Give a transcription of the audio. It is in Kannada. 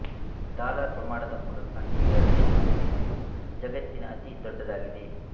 ಡಾಲರ್ ಪ್ರಮಾಣದ ಮೂಲಕ ನ್ಯೂಯಾರ್ಕ್ ಶೇರು ವಿನಿಮಯವು ಜಗತ್ತಿನ ಅತೀ ದೊಡ್ಡದಾಗಿದೆ